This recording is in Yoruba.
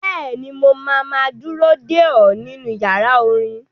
Bẹ́ẹ̀ni, mo máa ma dúró dè ọ́ nínú yàrá orin.